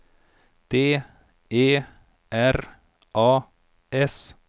D E R A S